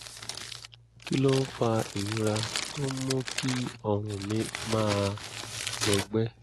kí ló ń fa ìrora tó ń mú kí ọrùn mi máa gbọgbẹ́?